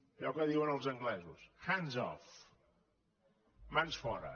allò que diuen els anglesos hands off mans fora